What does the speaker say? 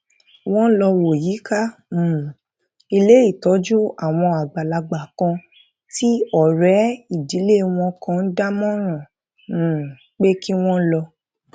wón lọ wo yíká um ilé ìtójú àwọn àgbàlagbà kan tí òré ìdílé wọn kan dámòràn um pé kí wón lọ